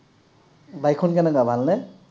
bike খন কেনেকুৱা, ভাল নে?